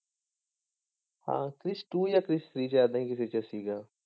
ਹਾਂ ਕ੍ਰਿਸ two ਜਾਂ Krrish three ਏਦਾਂ ਹੀ ਸੀਗਾ।